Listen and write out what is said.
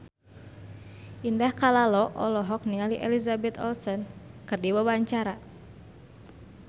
Indah Kalalo olohok ningali Elizabeth Olsen keur diwawancara